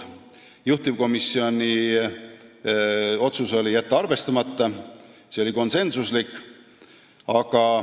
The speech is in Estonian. Juhtivkomisjoni otsus oli jätta arvestamata, see otsus oli konsensuslik.